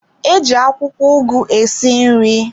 Eji akwụkwọ ugu esi nri.